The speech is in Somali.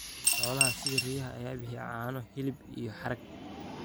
Xoolaha sida riyaha ayaa bixiya caano, hilib, iyo harag.